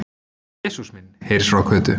Jesús minn! heyrðist frá Kötu.